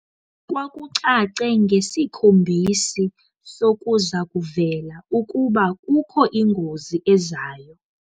Kwakucace ngesikhombisi sokuza kuvela ukuba kukho ingozi ezayo.